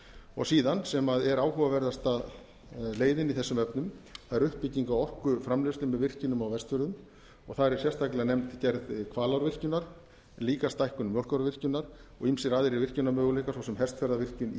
og síðan sem er áhugaverðasta leiðin í þessum efnum það er uppbygging á orkuframleiðslu með virkjunum á vestfjörðum þar er sérstaklega nefnd gerð hvalárvirkjunar líka stækkun mjólkárvirkjunar og ýmsir aðrir virkjunarmöguleikar svo sem hestfjarðarvirkjun í